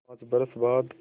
पाँच बरस बाद